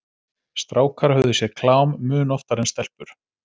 Strákar höfðu séð klám mun oftar en stelpur.